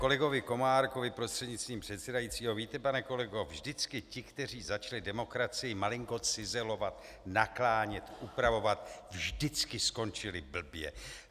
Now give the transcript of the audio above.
Kolegovi Komárkovi prostřednictvím předsedajícího: Víte, pane kolego, vždycky ti, kteří začali demokracii malinko cizelovat, naklánět, upravovat, vždycky skončili blbě.